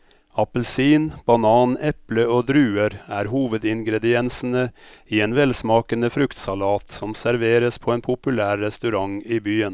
Appelsin, banan, eple og druer er hovedingredienser i en velsmakende fruktsalat som serveres på en populær restaurant i byen.